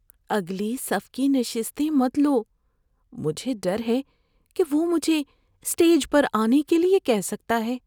اگلی صف کی نشستیں مت لو۔ مجھے ڈر ہے کہ وہ مجھے اسٹیج پر آنے کے لیے کہہ سکتا ہے۔